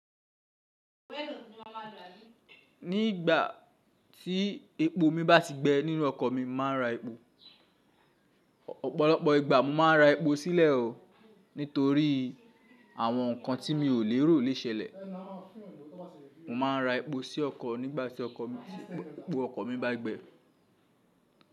Ní ìgbà tí epo mi bá ti gbẹ nínú ọkọ̀ mi, màá n ra epo. Ọ̀pọ̀lọpọ̀ ìgbà, mo màá n ra epo sílẹ̀ o nítorí àwọn ǹkan tí mi ò lérò le ṣẹlẹ̀. Mo máa ń ra epo sí ọkọ̀ nígbàtí ọkọ mi, epo ọkọ̀ mi bá gbẹ.